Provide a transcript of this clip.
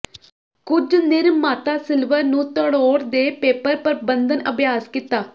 ਕੁਝ ਨਿਰਮਾਤਾ ਸਿਲਵਰ ਨੂੰ ਤਰੋੜ ਦੇ ਪੇਪਰ ਪਰਬੰਧਨ ਅਭਿਆਸ ਕੀਤਾ